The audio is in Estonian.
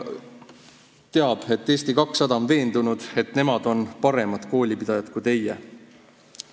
Eesti 200 on veendunud, et nemad on paremad koolipidajad kui teie.